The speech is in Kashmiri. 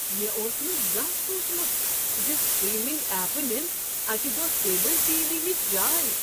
مےٚ اوس نہٕ زانٛہہ سوٗنٛچمت ز سٹریمنگ ایپہٕ نن اکہ دۄہ کیبل ٹی وی ہٕچ جاے۔